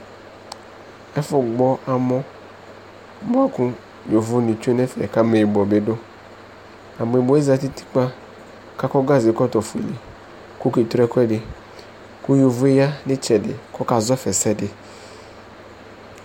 Ɛfʋgbɔ amɔ bʋa kʋ yovonɩ tsue nʋ ɛfɛ kʋ ameyibɔ bɩ dʋ Ameyibɔ yɛ zati nʋ utikpa kʋ akɔ gazekɔtɔfuele kʋ tre ɛkʋɛdɩ kʋ yovo yɛ ya nʋ ɩtsɛdɩ kʋ ɔkazɔ fa ɛsɛdɩ